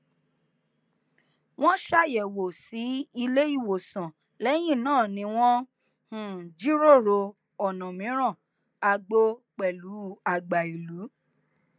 wọn ṣàyẹwò sí ilé ìwòsàn lẹyìn náà ni wọn um jiròrò ọnà mìíràn àgbo pẹlú àgbà ìlú